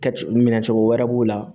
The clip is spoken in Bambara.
Kɛ cogo minɛ cogo wɛrɛ b'u la